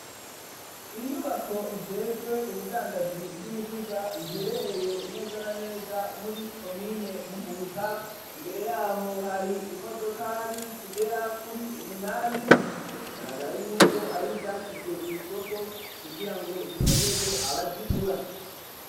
Inyubako ijejwe ubudandaji bw'imiduga iherereye neza na neza muri komine Muhuta, imbere yaho hari imodokari zigera kuri umunani, igaragara yuko ari zashizwe kw'isoko kugira ngo zironderwe abazigura.